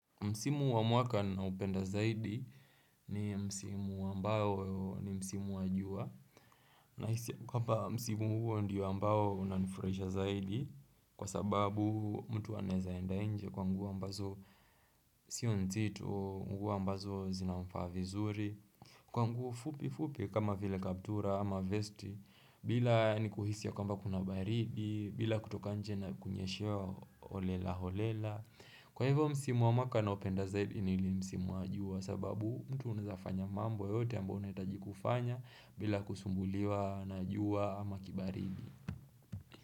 Msimu wa mwaka na nupenda zaidi ni msimu wa ambao ni msimu wa jua Nahisi kwamba msimu huo ndiyo ambao unanifurisha zaidi Kwa sababu mtu anaweza enda nje kwa nguo mbazo sio nzito nguo mbazo zinamfaa vizuri Kwa nguo fupi fupi kama vile kaptura ama vesti bila nikuhisa kwamba kunabaribi, bila kutoka nje na kunyeshewa holela holela Kwa hivyo msimu wa mwaka naopenda zaidini ile msimu wa jua sababu mtu unazafanya mambo yote ambayo unahitaji kufanya bila kusumbuliwa na jua ama kibaridi.